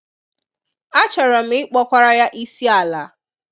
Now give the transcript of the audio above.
A chọrọ m ị kpọkwara Ya isi ala